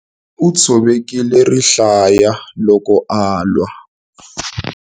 U tshovekile rihlaya loko alwa.